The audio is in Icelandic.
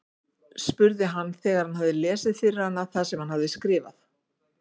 spurði hann þegar hann hafði lesið fyrir hana það sem hann hafði skrifað.